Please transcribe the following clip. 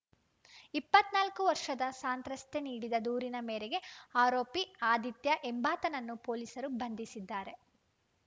ಇಪ್ಪತ್ತ್ ನಾಲ್ಕು ವರ್ಷದ ಸಂತ್ರಸ್ತೆ ನೀಡಿದ ದೂರಿನ ಮೇರೆಗೆ ಆರೋಪಿ ಆದಿತ್ಯ ಎಂಬಾತನನ್ನು ಪೊಲೀಸರು ಬಂಧಿಸಿದ್ದಾರೆ